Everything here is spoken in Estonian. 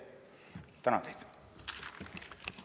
Ma tänan teid!